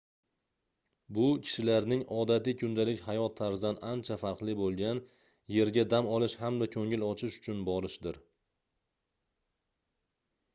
bu kishilarning odatiy kundalik hayot tarzidan ancha farqli boʻlgan yerga dam olish hamda koʻngil ochish uchun borishidir